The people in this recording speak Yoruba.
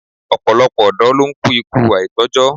Ọ̀pọ̀lọpọ̀ ọ̀dọ́ ló ń kú ikú àìtójọ́